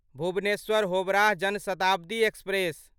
Bhubaneswar Howrah Jan Shatabdi express